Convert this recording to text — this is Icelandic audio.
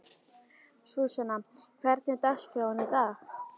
Súsanna, hvernig er dagskráin í dag?